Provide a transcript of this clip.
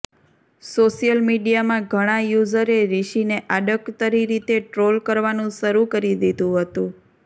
social મીડિયામાં ઘણા યૂઝરે રિષિને આડકતરી રીતે ટ્રોલ કરવાનું શરૂ કરી દીધુ હતું